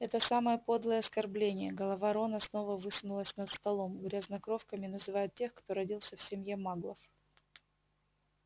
это самое подлое оскорбление голова рона снова высунулась над столом грязнокровками называют тех кто родился в семье маглов